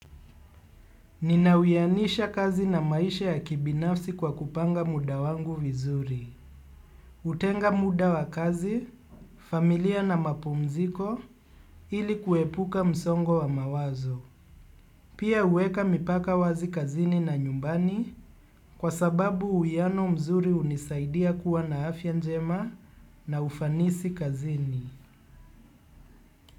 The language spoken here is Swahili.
Nina uyanisha kazi na maisha ya kibinafsi kwa kupanga muda wangu vizuri. Hutenga muda wa kazi, familia na mapumziko ili kuepuka msongo wa mawazo. Pia huweka mipaka wazi kazini na nyumbani kwa sababu uiyano mzuri hunisaidia kuwa na afya njema na ufanisi kazini.